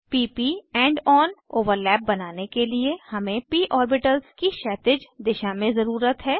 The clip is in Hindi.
p प end ओन ओवरलैप बनाने के लिए हमें प ऑर्बिटल्स की क्षैतिज दिशा में ज़रुरत है